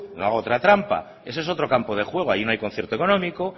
no haga otra trampa eso es otro campo de juego allí no hay concierto económico